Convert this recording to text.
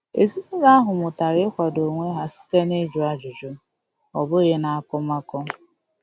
Ezinụlọ ahụ mụtara ịkwado onwe ha site na-ịjụ ajụjụ, ọ bụghị n'akọmakọ.